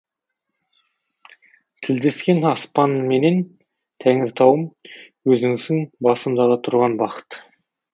тілдескен аспанменен тәңіртауым өзіңсің басымдағы тұрған бақыт